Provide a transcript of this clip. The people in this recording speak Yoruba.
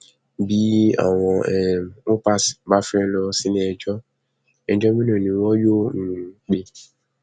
bí bí àwọn um upas bá wàá fẹẹ lọ síléẹjọ ẹjọ mélòó ni wọn yóò um pè